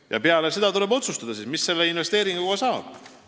Ja peale seda tuleb otsustada, mis investeeringust saab.